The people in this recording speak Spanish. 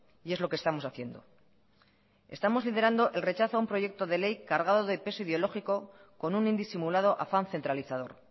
y es lo que estamos haciendo estamos liderando el rechazo a un proyecto de ley cargado de peso ideológico con un indisimulado afán centralizador